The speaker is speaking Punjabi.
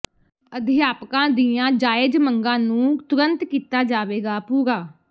ਅਧਿਆਪਕਾਂ ਦੀਆਂ ਜਾਇਜ ਮੰਗਾਂ ਨੂੰ ਤੁਰੰਤ ਕੀਤਾ ਜਾਵੇਗਾ ਪੂਰਾ